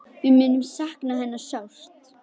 Við munum sakna hennar sárt.